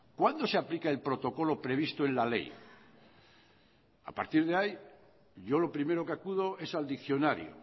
cuándo se aplica el protocolo previsto en la ley a partir de ahí yo lo primero que acudo es al diccionario